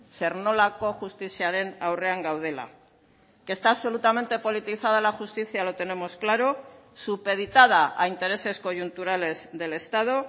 zer nolako justiziaren aurrean gaudela que está absolutamente politizada la justicia lo tenemos claro supeditada a intereses coyunturales del estado